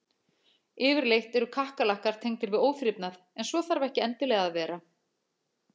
Yfirleitt eru kakkalakkar tengdir við óþrifnað en svo þarf ekki endilega að vera.